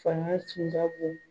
Fanga tun ka bon